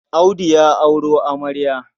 Audu ya auro amarya.